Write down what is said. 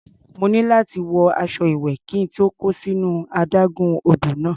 Mo ní láti wọ aṣọ ìwẹ̀ kí n tó kó sínú adágún odò náà.